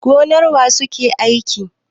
Gonar wa suke aiki?